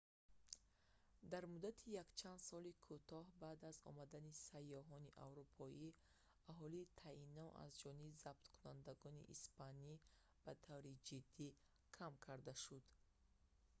дар муддати якчанд соли кӯтоҳи баъд аз омадани сайёҳони аврупоӣ аҳолии таино аз ҷониби забткунандагони испанӣ ба таври ҷиддӣ кам карда шуд